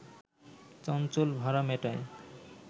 চঞ্চল ভাড়া মেটায়